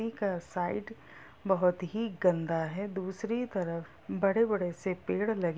नदी का साइड बहुत ही गंदा है दूसरी तरफ बड़े-बड़े से पेड़ लगे --